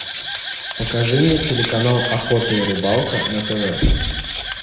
покажи мне телеканал охота и рыбалка на тв